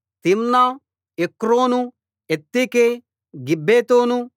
Timnah Ekron Eltekeh గిబ్బెతోను